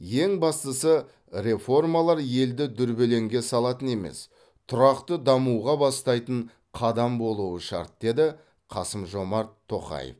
ең бастысы реформалар елді дүрбелеңге салатын емес тұрақты дамуға бастайтын қадам болуы шарт деді қасым жомарт тоқаев